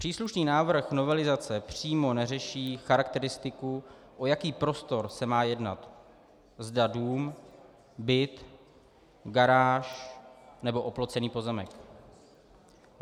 Příslušný návrh novelizace přímo neřeší charakteristiku, o jaký prostor se má jednat, zda dům, byt, garáž nebo oplocený pozemek.